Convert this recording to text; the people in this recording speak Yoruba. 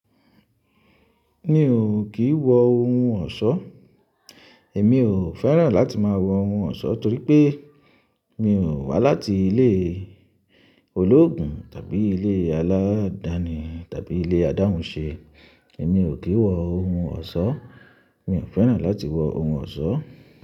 Mi ò kì í wọ ohun ọ̀ṣọ́. Èmi ò fẹ́ràn láti máa wọ ohun ọ̀ṣọ́ torí pé mi ò wá láti ilé olóògùn tàbí ilé aládàáni tàbí ilé adáhunṣe. Èmi ò kì í wọ ohun ọ̀ṣọ́. Mi ò fẹ́ràn láti wọ ohun ọ̀ṣọ́.